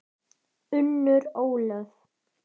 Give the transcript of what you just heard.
Unnur Ólöf.